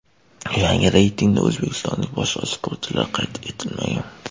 Yangi reytingda o‘zbekistonlik boshqa sportchilar qayd etilmagan.